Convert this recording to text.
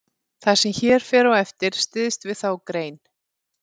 Það sem hér fer á eftir styðst við þá grein.